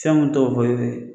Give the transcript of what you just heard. Fɛnw tɔw fɔ